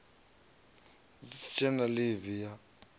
si tshe na ḽivi ya